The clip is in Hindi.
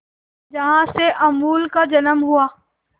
जहां से अमूल का जन्म हुआ